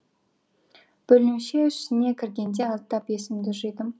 бөлімше ішіне кіргенде аздап есімді жидым